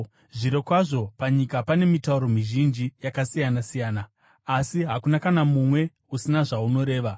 Zvirokwazvo panyika pane mitauro mizhinji yakasiyana-siyana, asi hakuna kana mumwe usina zvaunoreva.